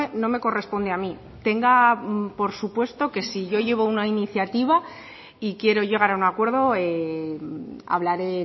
no me corresponde a mí tenga por supuesto que si yo llevo una iniciativa y quiero llegar a un acuerdo hablaré